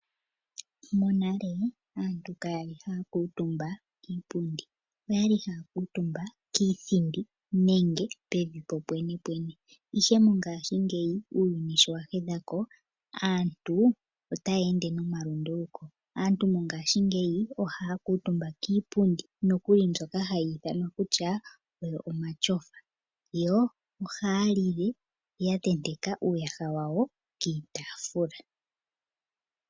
Monale aantu ka yali haya kuutumba kiipundi oyali haya kuutumba kiithindi nenge pevi popwene pwene Ihe mongashingeya uuyuni sho wa hedhako aantu otaya ende nomalunduluko .Aantu mongashingeya ohaya kuutumba kiipundi nokuli mbyoka hayi ithanwa omatyofa yo oha yalile ya tenteka uuyaha wawo kiitaafula .